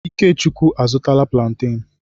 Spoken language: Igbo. Ikechukwu a zụtala plantain.